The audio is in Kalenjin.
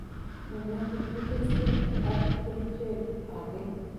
Tebe ngot ko tos kenya ak kerchak age